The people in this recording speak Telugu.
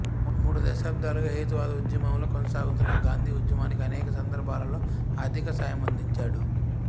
మూడు దశాబ్దాలుగా హేతువాద ఉద్యమంలో కొనసాగుతున్న గాంధి ఉద్యమానికి అనేక సందర్భాలలో ఆర్థిక సాయమందించాడు